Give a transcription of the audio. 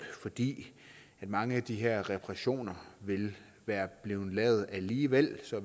fordi mange af de her reparationer ville være blevet lavet alligevel så